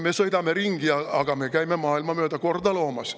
Me sõidame sellistega ringi, aga me käime mööda maailma korda loomas.